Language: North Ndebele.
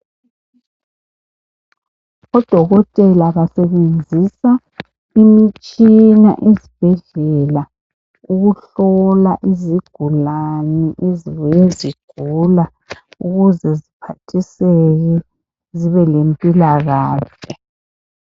Odokotela basebenzisa imitshina esibhedlela ukuhlola izigulani ezibuye zigula ukuze ziphathiseke zibe lempilakahle.